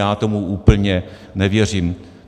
Já tomu úplně nevěřím.